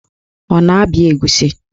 Ọ na-abịa egusi?